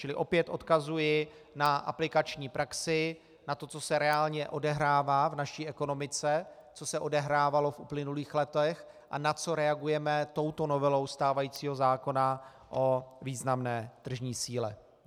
Čili opět odkazuji na aplikační praxi, na to, co se reálně odehrává v naší ekonomice, co se odehrávalo v uplynulých letech a na co reagujeme touto novelou stávajícího zákona o významné tržní síle.